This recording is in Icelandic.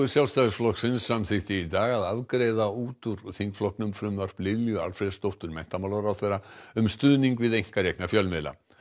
Sjálfstæðisflokksins samþykkti í dag að afgreiða út úr þingflokknum frumvarp Lilju Alfreðsdóttur menntamálaráðherra um stuðning við einkarekna fjölmiðla